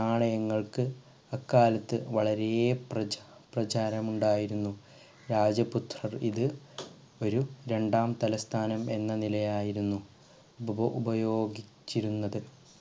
നാണയങ്ങൾക് അക്കാലത്ത് വളരേ പ്രചാ പ്രചാരം ഉണ്ടായിരുന്നു രാജപുത്ര ഒരു രണ്ടാം തലസ്ഥാനം എന്ന നിലയായിരുന്നു ഇത് ഉപയോഗിച്ചിരുന്നത്